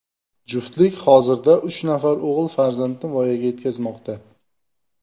Juftlik hozirda uch nafar o‘g‘il farzandni voyaga yetkazmoqda.